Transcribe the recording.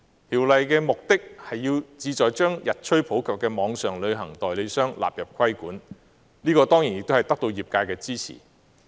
《條例草案》的目的，旨在將日趨普及的網上旅行代理商納入規管，這亦已獲得業界的支持。